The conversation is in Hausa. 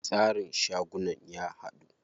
Tsarin shagunan ya haɗu.